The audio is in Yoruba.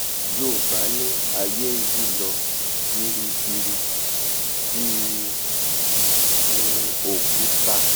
yoòbá ní ayé nyí lọ biribiri bí um òkúta